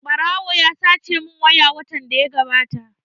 Ɓarawo ya sace mun waya watan da ya gabata